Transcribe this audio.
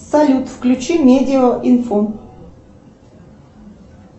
салют включи медиа инфо